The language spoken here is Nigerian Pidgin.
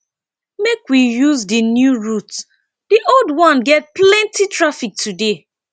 make we use di new route di old one get plenty traffic today